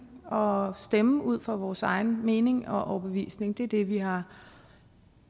og stemme ud fra vores egen mening og overbevisning det er det vi har